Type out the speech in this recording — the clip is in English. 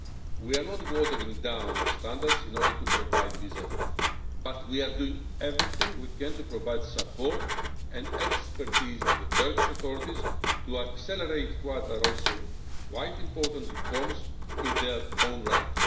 We are not watering down our standards in order to provide visa free, but we are doing everything we can to provide support and expertise to the Turkish authorities to accelerate what are also quite important reforms in their own right.